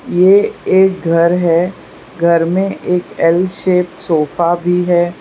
ये एक घर है घर में एक एल शेप सोफा भी है।